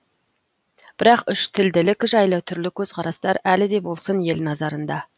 бірақ үштілділік жайлы түрлі көзқарастар әлі де болсын ел назарында